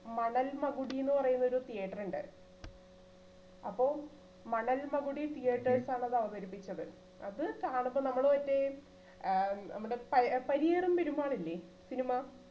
മണൽ മകുടീന്ന് പറയുന്നൊരു theatre ഉണ്ട് അപ്പോം മണൽ മകുടി theaters ആണ് അത് അവതരിപ്പിച്ചത്. അത് കാണുമ്പോൾ നമ്മള് ആ നമ്മുടെ പഴ~പരിയിടം പെരുമാൾ ഇല്ലേ cinema